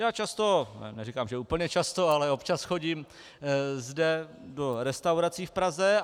Já často, neříkám, že úplně často, ale občas chodím zde do restaurací v Praze.